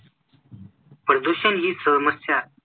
प्रदूषण ही समस्या